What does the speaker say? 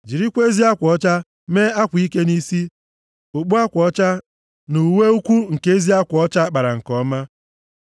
jirikwa ezi akwa ọcha mee akwa ike nʼisi, okpu akwa ọcha, na uwe ukwu nke ezi akwa ọcha a kpara nke ọma.